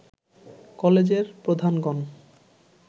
কলেজের প্রধানগণ